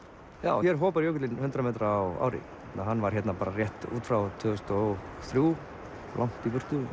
já hér hopar jökullinn um hundrað metra á ári hann var hérna rétt út frá tvö þúsund og þrjú og